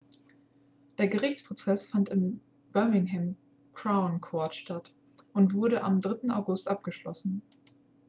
der gerichtsprozess fand am birmingham crown court statt und wurde am 3. august abgeschlossen